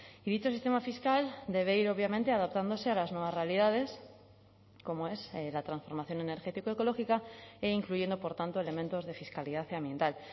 y dicho sistema fiscal debe ir obviamente adaptándose a las nuevas realidades como es la transformación energético ecológica e incluyendo por tanto elementos de fiscalidad ambiental